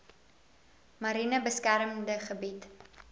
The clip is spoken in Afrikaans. mariene beskermde gebied